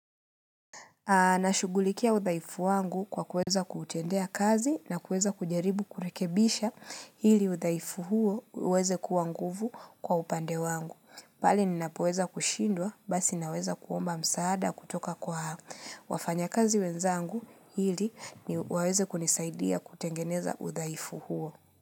Nashughulikia udhaifu wangu kwa kuweza kuutendea kazi na kuweza kujaribu kurekebisha ili udhaifu huo uweze kuwa nguvu kwa upande wangu. Pale ninapoweza kushindwa basi naweza kuomba msaada kutoka kwa haa. Wafanya kazi wenzangu ili ni waweze kunisaidia kutengeneza udaifu huo.